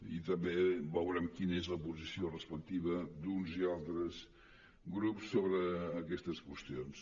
i també veurem quina és la posició respectiva d’uns i altres grups sobre aquestes qüestions